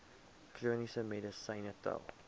chroniese medisyne tel